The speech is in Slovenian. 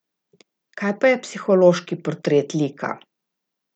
Kaj pa psihološki portret lika?